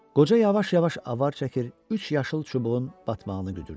Qoca yavaş-yavaş avar çəkir, üç yaşıl çubuğun batmağını güdürdü.